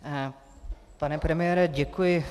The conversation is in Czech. Pane premiére, děkuji.